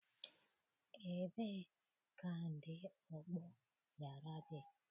Ebee kandị ọgbọọ yara dị?